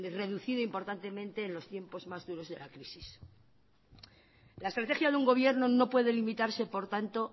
reducido importantemente en los tiempos más duros de las crisis la estrategia de un gobierno no puede limitarse por tanto